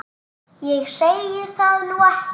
Ég segi það nú ekki.